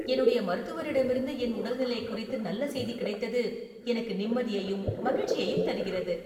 என்னுடைய மருத்துவரிடமிருந்து என் உடல்நிலை குறித்து நல்ல செய்தி கிடைத்தது எனக்கு நிம்மதியையும் மகிழ்ச்சியையும் தருகிறது.